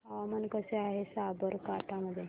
हवामान कसे आहे साबरकांठा मध्ये